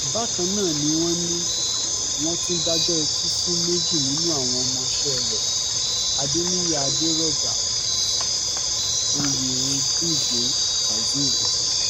bákan náà ni wọ́n ní wọ́n tún dájọ́ ikú fún méjì nínú àwọn ọmọọṣẹ́ rẹ̀ adeniyi aderọgbà oyengude kazeem